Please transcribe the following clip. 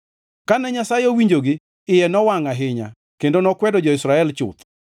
Kane Nyasaye owinjogi, iye nowangʼ ahinya, kendo nokwedo jo-Israel chuth.